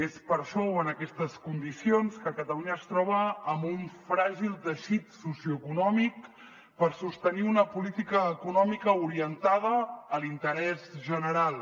és per això o en aquestes condicions que catalunya es troba amb un fràgil teixit socioeconòmic per sostenir una política econòmica orientada a l’interès general